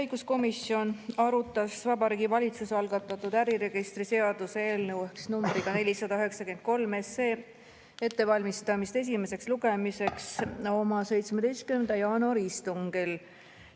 Õiguskomisjon arutas Vabariigi Valitsuse algatatud äriregistri seaduse eelnõu 493 ettevalmistamist esimeseks lugemiseks oma 17. jaanuari istungil.